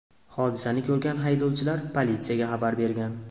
Hodisani ko‘rgan haydovchilar politsiyaga xabar bergan.